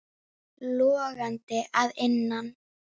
Logandi að innan.